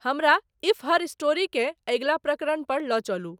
हमरा if her story के अगिला प्रकरण पर ल चलु